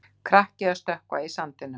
Krakki að stökkva í sandinum.